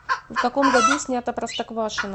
в каком году снято простоквашино